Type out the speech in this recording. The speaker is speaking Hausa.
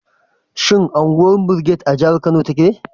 Shin unguwar Brigade a jihar Kano take?